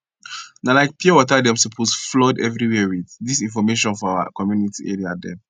na like pure water dem suppose flood everywhere with dis information for our community area dem